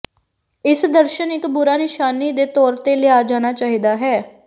ਇਸ ਦਰਸ਼ਣ ਇੱਕ ਬੁਰਾ ਨਿਸ਼ਾਨੀ ਦੇ ਤੌਰ ਤੇ ਲਿਆ ਜਾਣਾ ਚਾਹੀਦਾ ਹੈ